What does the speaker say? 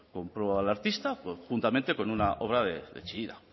compró al artista juntamente con una obra de chillida